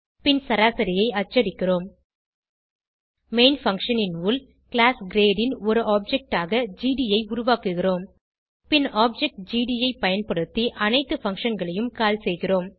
பின் சராசரியை அச்சடிக்கிறோம் main function ன் உள் கிளாஸ் கிரேட் ன் ஒரு ஆப்ஜெக்ட் ஆக ஜிடி ஐ உருவாக்குகிறோம் பின் ஆப்ஜெக்ட் ஜிடி ஐ பயன்படுத்தி அனைத்து functionகளையும் கால் செய்கிறோம்